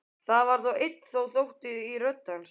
Það er enn þá ótti í rödd hans.